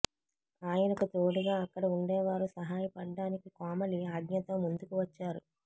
ఆయనకు తోడుగా అక్కడ ఉండే వారు సహాయపడడానికి కోమలి ఆజ్ఞతో ముందుకు వచ్చారు